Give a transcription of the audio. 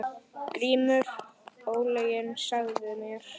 GRÍMUR: Ólyginn sagði mér.